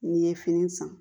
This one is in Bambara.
N'i ye fini san